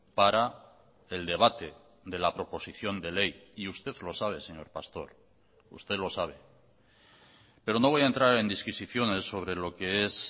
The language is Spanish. para el debate de la proposición de ley y usted lo sabe señor pastor usted lo sabe pero no voy a entrar en disquisiciones sobre lo que es